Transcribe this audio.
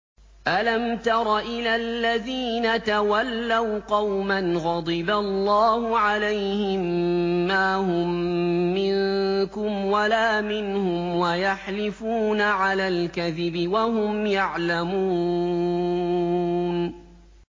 ۞ أَلَمْ تَرَ إِلَى الَّذِينَ تَوَلَّوْا قَوْمًا غَضِبَ اللَّهُ عَلَيْهِم مَّا هُم مِّنكُمْ وَلَا مِنْهُمْ وَيَحْلِفُونَ عَلَى الْكَذِبِ وَهُمْ يَعْلَمُونَ